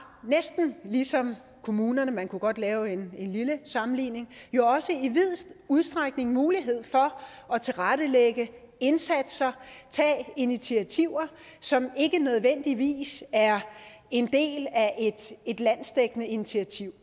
næsten ligesom kommunerne man kunne godt lave en lille sammenligning jo også i vid udstrækning mulighed for at tilrettelægge indsatser tage initiativer som ikke nødvendigvis er en del af et landsdækkende initiativ